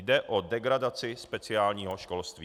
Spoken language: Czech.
Jde o degradaci speciálního školství.